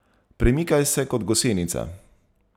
Premikaj se kot gosenica.